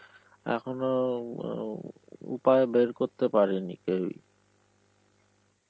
এখনো উম অ উপায় বের করতে পারেনি কেউই.